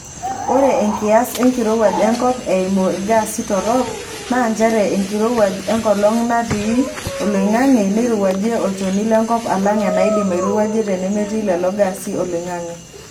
Ore enkias enkirowuaj enkop eimu ilgaasi torok naa njere enkirowuaj enkolong natii oloingange neirowuajie olchoni lenkop alang enaidim airowuaje temetii lelo gaasi oloingange.